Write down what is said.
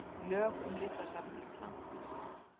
Lög um Listasafn Íslands.